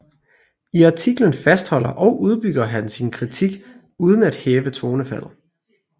I atiklen fastholder og udbygger han sin kritik uden at hæve tonefaldet